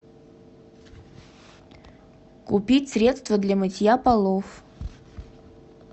купить средство для мытья полов